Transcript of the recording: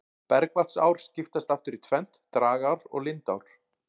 Bergvatnsár skiptast aftur í tvennt, dragár og lindár.